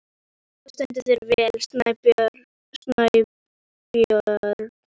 Þú stendur þig vel, Snæbjörn!